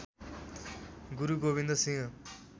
Guru Gobind Singh